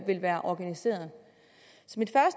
vil være organiseret